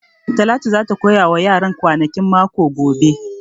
Talatu za ta koya wa yaran kwanakin mako gobe